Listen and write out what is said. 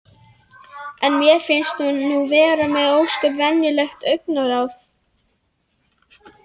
En mér finnst hún nú vera með ósköp venjulegt augnaráð.